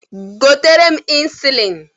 Gotere m ịnsụlịn!